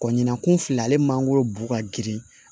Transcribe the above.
Kɔ ɲinankun fila ale mangoro bu ka girin